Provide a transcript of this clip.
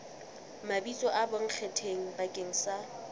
mabitso a bonkgetheng bakeng sa